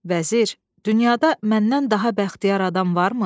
Vəzir, dünyada məndən daha bəxtiyar adam varmı?